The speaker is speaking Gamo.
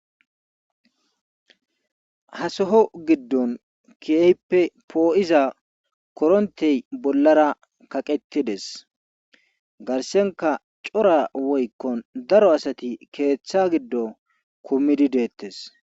Ha soho giddon keehippe poo7iza koronttey bollara kaqettides garssenkka cora woykkon daro asati keetha giddon kumidi deettees.